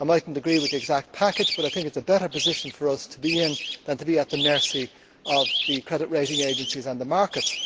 I might not agree with the exact package but I think it is a better position for us to be in than to be at the mercy of the credit rating agencies and the markets.